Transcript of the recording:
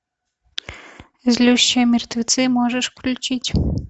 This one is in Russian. злющие мертвецы можешь включить